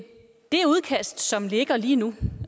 det udkast som ligger lige nu